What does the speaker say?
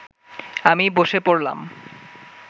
আমি বসে পড়লাম